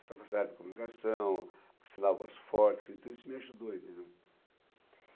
Essa facilidade de comunicação, essa voz forte, então isso me ajudou, entendeu.